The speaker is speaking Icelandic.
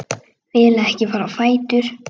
Vil ekki fara á fætur.